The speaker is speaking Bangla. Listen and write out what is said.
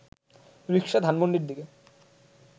রিকশা ধানমন্ডির দিকে